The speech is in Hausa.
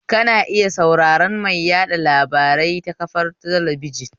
Kana iya sauraran mai yaɗa labarai ta kafar talabijin